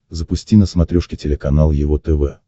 запусти на смотрешке телеканал его тв